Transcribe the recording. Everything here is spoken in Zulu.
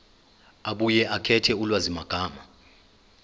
abuye akhethe ulwazimagama